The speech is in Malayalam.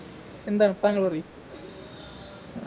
എന്താണ് താങ്കൾ പറി